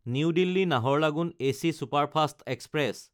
new দিল্লী–নাহাৰলাগুন AC superfast express